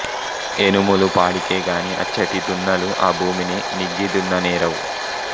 ఎనుములు పాడికేగాని అచ్చటి దున్నలు ఆ భూమిని నిగ్గి దున్ననేరవు